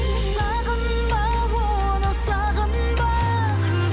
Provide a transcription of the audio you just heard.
сағынба оны сағынба